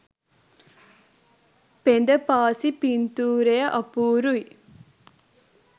පෙඳ පාසි පින්තූරය අපූරුයි.